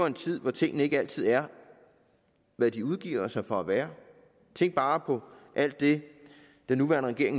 en tid hvor tingene ikke altid er hvad de udgiver sig for at være tænk bare på alt det den nuværende regering